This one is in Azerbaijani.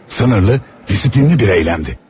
Sınırlı, disiplinli bir eyləmdi.